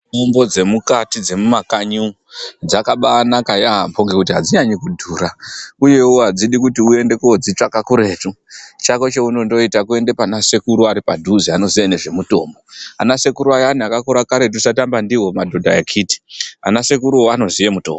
Mutombo dzemukati dzemukanyi umu dzakabanaka yamho ngekuti adzinyanyi kudhura uyewo adzidi kuti uende wodzitsvaka kuretu chako cheunondoita kuenda panasekuru aripadhuze anoziva nezvemutombo anasekuru ayani akakura kare tisatamba ndiwo madhodha akhiti anasekuruwo anoziye mutombo